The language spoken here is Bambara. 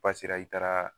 i taara